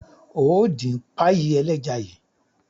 Óò dín páyì ẹlẹ́ja yìí!